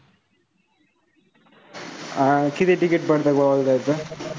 अं किती ticket पडतं गोव्याला जायचं?